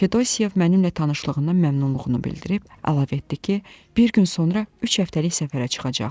Fedosiev mənimlə tanışlığından məmnunluğunu bildirib əlavə etdi ki, bir gün sonra üç həftəlik səfərə çıxacaq.